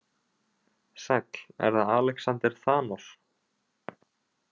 Sæll, er það Alexander Thanos?